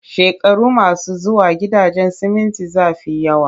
Shekaru masu zuwa, gidajen siminti za fi yawa